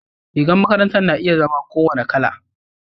rigar makaranta na iya zama ko wani Kala